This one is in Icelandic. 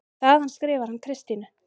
Þaðan skrifar hann Kristínu